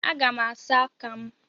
Aga m asa aka m.